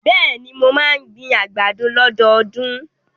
Bẹ́ẹ̀ni, mo máa ń gbin àgbàdo lọ́dọọdún.